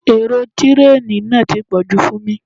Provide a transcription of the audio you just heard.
Èrò tireeni náà ti pọ̀jù fún mi.